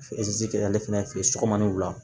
kɛ ale fɛnɛ fɛ ye sɔgɔma ni wula